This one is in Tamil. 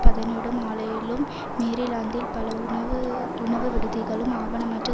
பதனிடும் ஆலையிலும் மேரிலாந்தில் பல உணவு உணவுவிடுதிகளும் ஆவணமற்ற